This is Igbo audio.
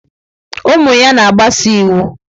Ụmụ ya na-agbaso iwu.